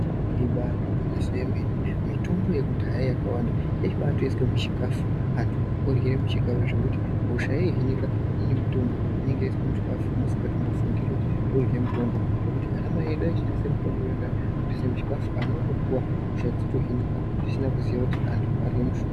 Ibaari gwinyiso remene mitombo yekudhaya yakawanda yaibaatoiswa muchikhafu antu orye chikhafu zvekuti hosha yahinika ngekuti mutombo unenge waiswa muchikhafu musingatombofungiri kuti tirikurye mutombo zvekuti anamai edu aishandise mitombo yona iyoyo kutoisa muchikhafu ana otopuwa hosha dzotohinika zvisina kuziya kuti antu arye mishonga.